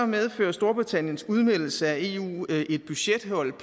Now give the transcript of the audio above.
medfører storbritanniens udmeldelse af eu et budgethul